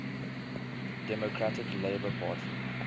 democratic labour party